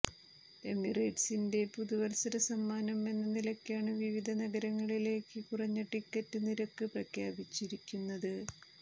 എമിറേറ്റ്സിന്റെ പുതുവല്സര സമ്മാനം എന്ന നിലക്കാണ് വിവിധ നഗരങ്ങളിലേക്ക് കുറഞ്ഞ ടിക്കറ്റ് നിരക്ക് പ്രഖ്യാപിച്ചിരിക്കുന്നത്